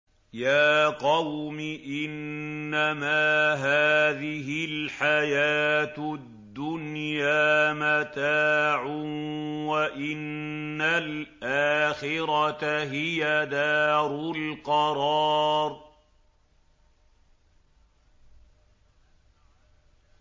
يَا قَوْمِ إِنَّمَا هَٰذِهِ الْحَيَاةُ الدُّنْيَا مَتَاعٌ وَإِنَّ الْآخِرَةَ هِيَ دَارُ الْقَرَارِ